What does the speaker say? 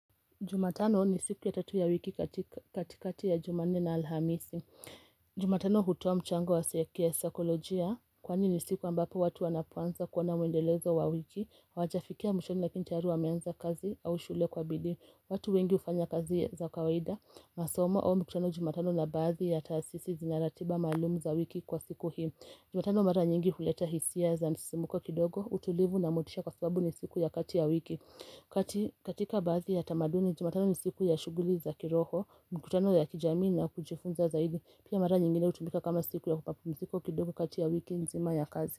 Jumatano ni siku ya tatu ya wiki katikati ya juma nne na alhamisi Jumatano hutoa mchango ya saikolojia. Kwani ni siku ambapo watu wanapoanza kuona mwendelezo wa wiki. Hawajafikia mwishoni lakini tayari wameanza kazi au shule kwa bidii. Watu wengi hufanya kazi za kawaida masomo au mkutano jumatano na baadhi ya taasisi zina ratiba maalum za wiki kwa siku hii Jumatano mara nyingi huleta hisia za msisimuko kidogo, utulivu na motisha kwa sababu ni siku ya kati ya wiki. Katika baadhi ya tamaduni, jumatano ni siku ya shughuli za kiroho, mkutano ya kijamii na kujifunza zaidi. Pia mara nyingine hutumika kama siku ya mapumziko kidogo kati ya wiki nzima ya kazi.